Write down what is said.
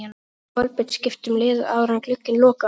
Gæti Kolbeinn skipt um lið áður en glugginn lokar?